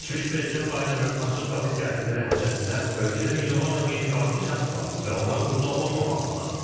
Keçmiş Prezident Baydenin açıq qapı siyasəti nəticəsində ölkədə milyonlarla qeyri-qanuni şəxs var və onlar burda olmamalıdırlar.